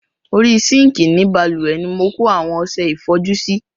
Orí sinkii ni bálùwẹ̀ ni mo kó àwọn ọsẹ ìfọjú sí.